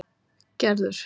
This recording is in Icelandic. Gerður